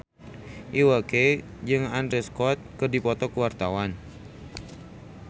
Iwa K jeung Andrew Scott keur dipoto ku wartawan